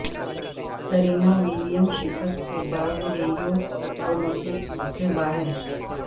Serena Williams شکست کے بعد ریو اولمپکس سے باہر